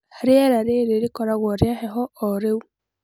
Rĩera rĩrĩ rĩkoragwo rĩa heho o rĩu